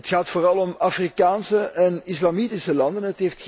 Het gaat vooral om Afrikaanse en Islamitische landen.